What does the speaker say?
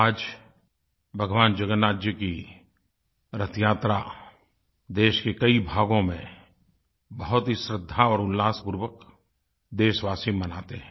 आज भगवान जगन्नाथ जी की रथयात्रा देश के कई भागों में बहुत ही श्रद्धा और उल्लासपूर्वक देशवासी मनाते हैं